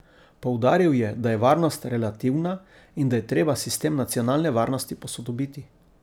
Poudaril je, da je varnost relativna in da je treba sistem nacionalne varnosti posodobiti.